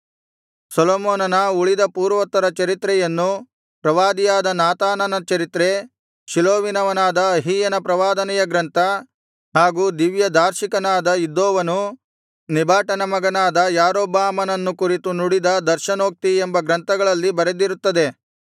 ಸೊಲೊಮೋನನ ಉಳಿದ ಪೂರ್ವೋತ್ತರ ಚರಿತ್ರೆಯನ್ನು ಪ್ರವಾದಿಯಾದ ನಾತಾನನ ಚರಿತ್ರೆ ಶೀಲೋವಿನವನಾದ ಅಹೀಯನ ಪ್ರವಾದನೆಯ ಗ್ರಂಥ ಹಾಗೂ ದಿವ್ಯದಾರ್ಶಿಕನಾದ ಇದ್ದೋವನು ನೆಬಾಟನ ಮಗನಾದ ಯಾರೊಬ್ಬಾಮನನ್ನು ಕುರಿತು ನುಡಿದ ದರ್ಶನೋಕ್ತಿ ಎಂಬ ಗ್ರಂಥಗಳಲ್ಲಿ ಬರೆದಿರುತ್ತದೆ